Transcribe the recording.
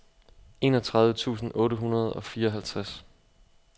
enogtredive tusind otte hundrede og fireoghalvtreds